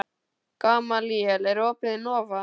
Gamalíel, er opið í Nova?